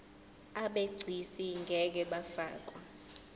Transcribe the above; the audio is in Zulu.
abegcis ngeke bafakwa